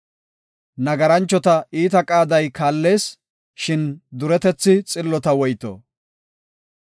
Nagaranchota iita qaaday kaallees; shin duretethi xillota woyto.